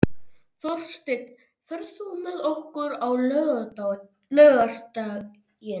Þórsteinn, ferð þú með okkur á laugardaginn?